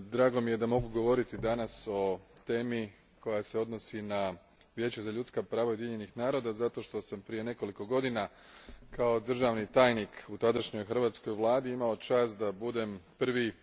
drago mi je da mogu govoriti danas o temi koja se odnosi na Vijeće za ljudska prava Ujedinjenih naroda zato što sam prije nekoliko godina kao državni tajnik u tadašnjoj hrvatskoj Vladi imao čast da budem prvi dužnosnik koji je branio